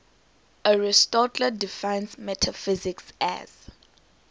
aristotle defines metaphysics as